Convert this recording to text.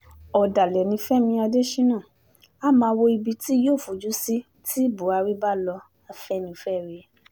ọ̀dàlẹ̀ ni fẹmi adésínà á máa wo ibi tí yóò fojú sí tí buhari bá lọ-afẹ́nifẹ́re